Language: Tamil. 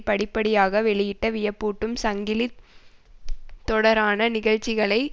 படிப்படியாக வெளிப்பட்ட வியப்பூட்டும் சங்கிலி தொடரான நிகழ்ச்சிகளை